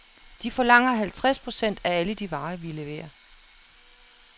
De forlanger halvtreds procent af alle de varer, vi leverer.